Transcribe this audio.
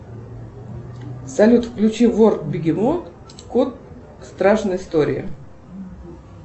салют включи вор бегемот кот страшные истории